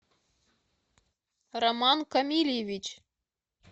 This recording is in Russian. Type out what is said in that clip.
роман камильевич